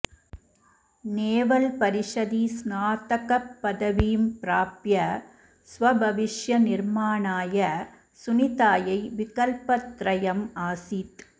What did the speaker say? naval परिषदि स्नातकपदवीं प्राप्य स्वभविष्यनिर्माणाय सुनितायै विकल्पत्रयम् आसीत्